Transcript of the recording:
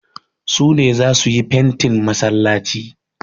Su ne za su yi fentin masallaci.